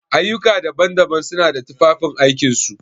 Ayyuka daban-daban suna da tufafin aikin su.